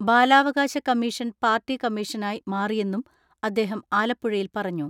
ബാലാവകാശ commission party കമ്മീഷനായി മാറിയെന്നും അദ്ദേഹം ആലപ്പുഴയിൽ പറഞ്ഞു.